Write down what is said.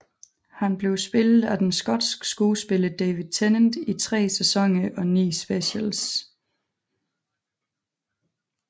Han blev spillet af den skotske skuespiller David Tennant i 3 sæsoner og ni specials